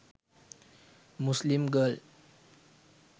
muslim girl